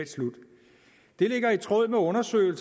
ordføreren